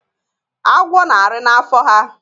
Agwo na-arị na n'afọ ha.